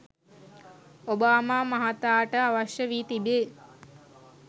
Obama මහතාට අවශ්‍ය වී තිබේ.